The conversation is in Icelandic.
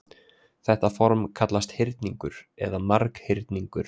Þetta form kallast hyrningur eða marghyrningur.